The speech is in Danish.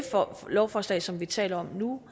lovforslag som vi taler om nu